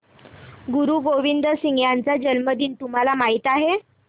गुरु गोविंद सिंह यांचा जन्मदिन तुम्हाला माहित आहे